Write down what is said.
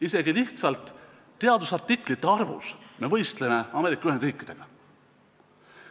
Isegi lihtsalt teadusartiklite arvu poolest me võistleme siin Ameerika Ühendriikidega.